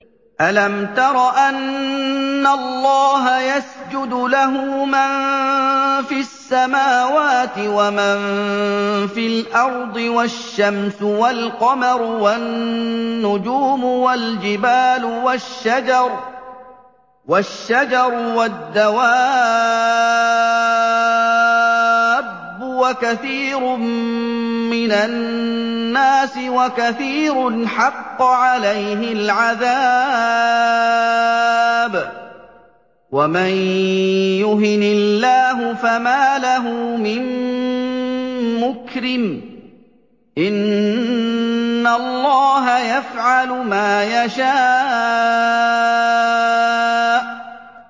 أَلَمْ تَرَ أَنَّ اللَّهَ يَسْجُدُ لَهُ مَن فِي السَّمَاوَاتِ وَمَن فِي الْأَرْضِ وَالشَّمْسُ وَالْقَمَرُ وَالنُّجُومُ وَالْجِبَالُ وَالشَّجَرُ وَالدَّوَابُّ وَكَثِيرٌ مِّنَ النَّاسِ ۖ وَكَثِيرٌ حَقَّ عَلَيْهِ الْعَذَابُ ۗ وَمَن يُهِنِ اللَّهُ فَمَا لَهُ مِن مُّكْرِمٍ ۚ إِنَّ اللَّهَ يَفْعَلُ مَا يَشَاءُ ۩